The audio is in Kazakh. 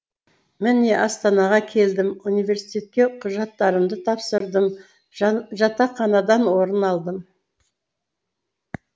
міне астанаға келдім университетке құжаттарымды тапсырдым жатақханадан орын алдым